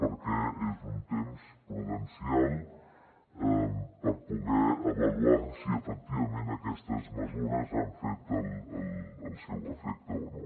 perquè és un temps prudencial per poder avaluar si efectivament aquestes mesures han fet el seu efecte o no